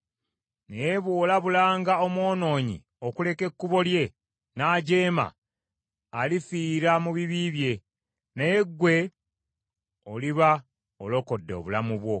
Naye bw’olabulanga omwonoonyi okuleka ekkubo lye, n’ajeema, alifiira mu bibi bye, naye ggwe oliba olokodde obulamu bwo.